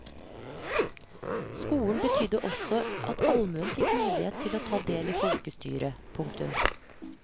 Skolen betydde også at allmuen fikk mulighet til å ta del i folkestyret. punktum